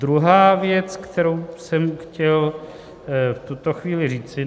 Druhá věc, kterou jsem chtěl v tuto chvíli říci.